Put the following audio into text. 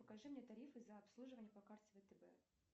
покажи мне тарифы за обслуживание по карте втб